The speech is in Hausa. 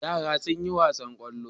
Yara sun yi wasan ƙwallo.